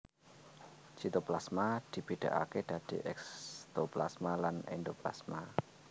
Sitoplasma dibédakaké dadi ékstoplasma lan éndoplasma